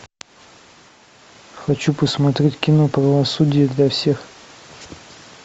хочу посмотреть кино правосудие для всех